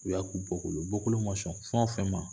U y'a k'u bɔkolo ye bɔkolo ma sɔn fɛn fɛn ma